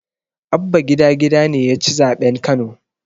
Abba gida gida ne yaci zaɓen kano